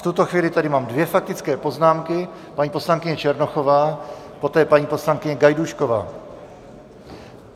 V tuto chvíli tady máme dvě faktické poznámky, paní poslankyně Černochová, poté paní poslankyně Gajdůšková.